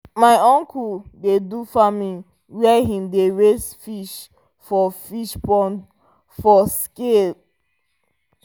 my uncle dey do farming where him dey raise fish for fish pond for scale